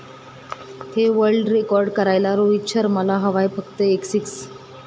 हा world record करायला रोहित शर्माला हवाय फक्त एक सिक्स